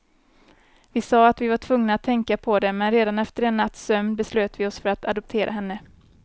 Vi sa att vi var tvungna att tänka på det, men redan efter en natts sömn beslöt vi oss för att adoptera henne.